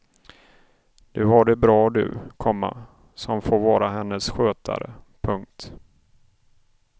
Du har det bra du, komma som får vara hennes skötare. punkt